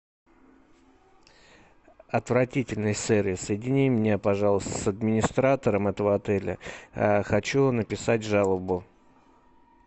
отвратительный сервис соедини меня пожалуйста с администратором этого отеля хочу написать жалобу